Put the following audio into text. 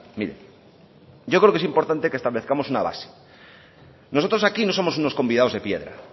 mire yo creo que es importante que establezcamos una base nosotros aquí no somos unos convidados de piedra